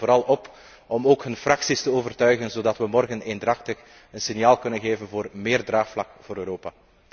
Ik roep hen vooral op om ook hun fracties te overtuigen zodat we morgen eendrachtig een signaal kunnen geven voor meer draagvlak voor Europa.